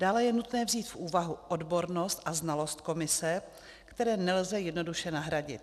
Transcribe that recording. Dále je nutné vzít v úvahu odbornost a znalost komise, které nelze jednoduše nahradit.